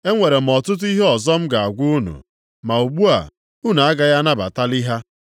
“Enwere m ọtụtụ ihe ọzọ m ga-agwa unu. Ma ugbu a, unu agaghị anabatalị ha.